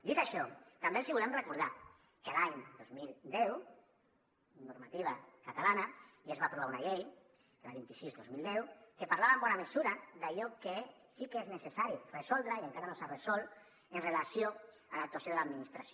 dit això també els volem recordar que l’any dos mil deu amb normativa catalana ja es va aprovar una llei la vint sis dos mil deu que parlava en bona mesura d’allò que sí que és necessari resoldre i encara no s’ha resolt amb relació a l’actuació de l’administració